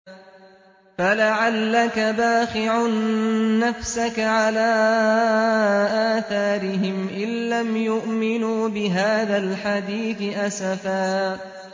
فَلَعَلَّكَ بَاخِعٌ نَّفْسَكَ عَلَىٰ آثَارِهِمْ إِن لَّمْ يُؤْمِنُوا بِهَٰذَا الْحَدِيثِ أَسَفًا